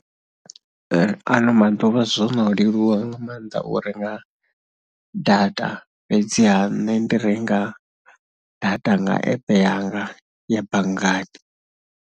Ano maḓuvha zwo no leluwa nga maanḓa u renga data fhedziha nṋe ndi renga data nga app yanga ya banngani.